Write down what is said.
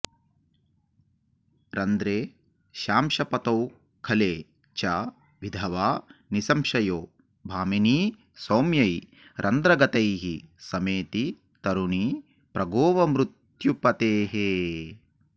रन्ध्रेशांशपतौ खले च विधवा निसंशयो भामिनी सौम्यै रन्ध्रगतैः समेति तरुणी प्रागेव मृत्यु पतेः